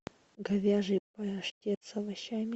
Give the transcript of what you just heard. говяжий паштет с овощами